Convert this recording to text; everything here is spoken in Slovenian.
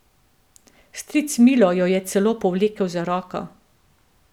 Stric Milo jo je celo povlekel za roko.